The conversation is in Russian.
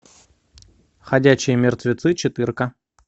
ходячие мертвецы четырка